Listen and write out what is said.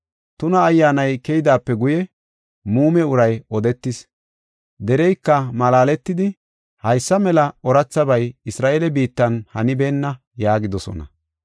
Tuna ayyaanay keydaape guye muume uray odetis. Dereyka malaaletidi, “Haysa mela oorathabay Isra7eele biittan hanibeenna” yaagidosona.